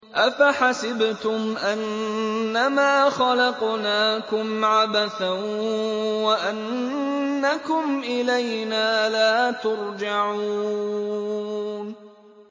أَفَحَسِبْتُمْ أَنَّمَا خَلَقْنَاكُمْ عَبَثًا وَأَنَّكُمْ إِلَيْنَا لَا تُرْجَعُونَ